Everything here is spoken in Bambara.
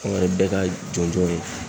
Anw yɛrɛ bɛɛ ka jɔnjɔn ye